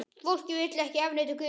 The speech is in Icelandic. Fólkið vill ekki afneita guðum sínum.